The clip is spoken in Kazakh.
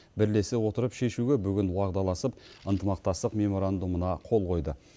бірлесе отырып шешуге бүгін уағдаласып ынтымақтастық меморандумына қол қойды